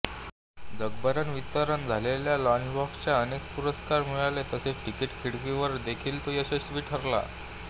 जगभर वितरण झालेल्या लंचबॉक्सला अनेक पुरस्कार मिळाले तसेच तिकिट खिडकीवर देखील तो यशस्वी ठरला